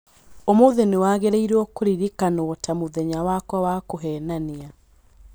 Ũũmũũthĩ nĩwagĩrĩirwo kũririkanwo ta mũthenya wakwa wa kũheenania.